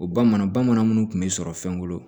O bamanan bamanan minnu kun bɛ sɔrɔ fɛn kɔnɔ